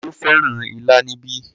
Tani ó fẹ́ràn ilá níbí?